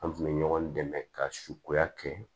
An kun bɛ ɲɔgɔn dɛmɛ ka sukoya kɛ